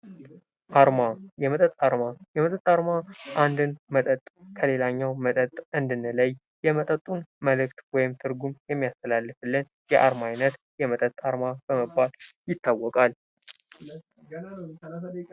አርማ የመጠጥ አርማ የመጠጥ አርማ አንድድ መጠጥ ከሌላኛው መጠጥ እንድንለይ የመጠጡን መልክት ወይም ትርጉም የሚያስተላልፍልን የአርማ አይነት የመጠጥ አርማ በመባል ይታወቃል።